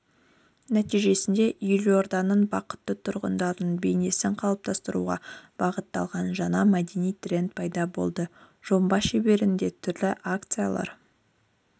нәтижесінде елорданың бақытты тұрғынының бейнесін қалыптастыруға бағытталған жаңа мәдени тренд пайда болды жоба шеңберінде түрлі акциялар